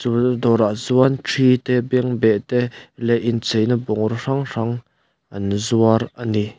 chu dawrah chuan thi te bengbeh te leh incheina bungraw hrang hrang an zuar ani.